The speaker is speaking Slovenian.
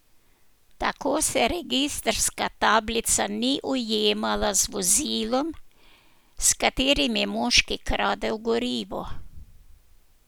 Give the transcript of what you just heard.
Tako se registrska tablica ni ujemala z vozilom, s katerim je moški kradel gorivo.